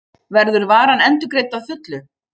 Verður varan endurgreidd að fullu